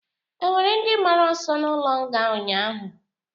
Ọ nwere ndị gbara ọsọ n'ulo nga ụnyaahụ?